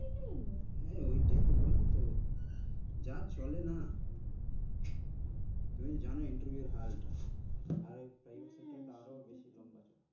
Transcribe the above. উম হম ওটাই তো বললাম তো যা চলে না তুমি তো জান interview এর হালটা হম সত্যি তো